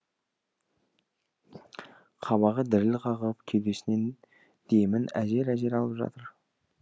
қабағы діріл қағып кеудесінен демін әзер әзер алып жатыр